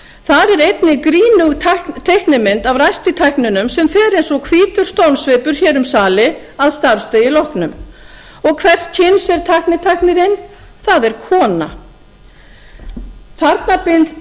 þar er einnig grínug teikning af ræstitækninum sem fer eins og hvítur stormsveipur hér um sali að starfsdegi loknum hvers kyns er ræstitæknirinn það er kona þarna